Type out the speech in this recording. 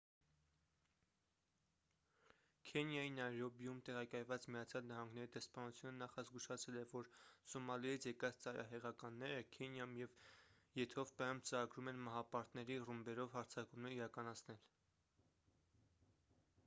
քենիայի նայրոբիում տեղակայված միացյալ նահանգների դեսպանությունը նախազգուշացրել է որ․«սոմալիից եկած ծայրահեղականները» քենիայում ու եթովպիայում ծրագրում են մահապարտների ռումբերով հարձակումներ իրականացնել։